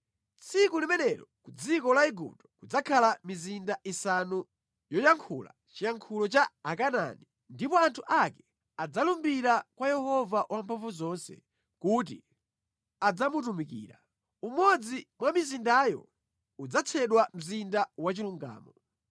Tsiku limenelo ku dziko la Igupto kudzakhala mizinda isanu yoyankhula chiyankhulo cha Akanaani, ndipo anthu ake adzalumbira kwa Yehova Wamphamvuzonse kuti adzamutumikira. Umodzi mwa mizindayo udzatchedwa Mzinda Wachilungamo.